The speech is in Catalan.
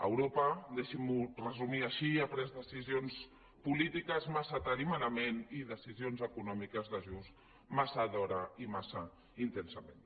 europa deixi m’ho resumir així ha pres decisions polítiques massa tard i malament i decisions econòmiques d’ajust massa d’hora i massa intensament